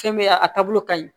Fɛn bɛ ye a a taabolo ka ɲi